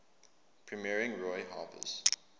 premiering roy harper's